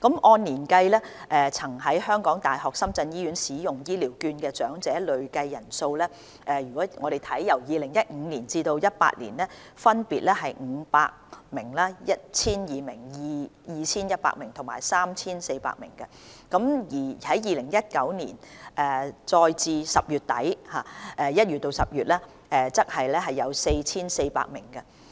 按年計，曾於港大深圳醫院使用醫療券的長者的累計人數 ，2015 年至2018年分別為500名、1,200 名、2,100 名及 3,400 名，而2019年截至10月底，即1月至10月，則有 4,400 名。